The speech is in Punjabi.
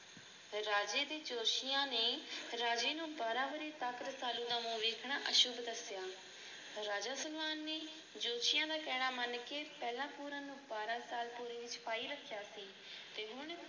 ਰਾਜੇ ਦੇ ਜੋਤਸ਼ੀਆਂ ਨੇ ਰਾਜੇ ਨੂੰ ਬਾਰਾਂ ਵਰ੍ਹੇ ਤੱਕ ਰਸਾਲੂ ਦਾ ਮੂੰਹ ਵੇਖਣਾ ਅਸ਼ੁੱਭ ਦੱਸਿਆ। ਰਾਜਾ ਸਲਵਾਨ ਨੇ ਜੋਤਸ਼ੀਆਂ ਦਾ ਕਹਿਣਾ ਮੰਨ ਕੇ ਪਹਿਲਾ ਪੂਰਨ ਨੂੰ ਸਾਲ ਤੱਕ ਤੇ ਹੁਣ